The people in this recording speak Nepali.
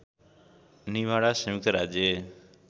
निभाडा संयुक्त राज्य